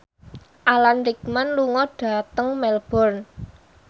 Alan Rickman lunga dhateng Melbourne